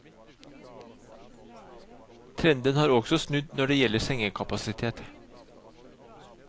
Trenden har også snudd når det gjelder sengekapasitet.